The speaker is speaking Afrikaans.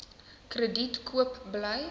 krediet koop bly